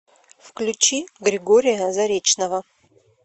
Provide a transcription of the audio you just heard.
включи григория заречного